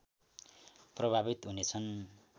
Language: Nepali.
प्रभावित हुनेछन्